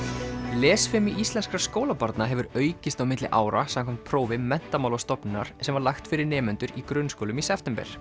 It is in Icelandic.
lesfimi íslenskra skólabarna hefur aukist á milli ára samkvæmt prófi Menntamálastofnunar sem var lagt fyrir nemendur í grunnskólum í september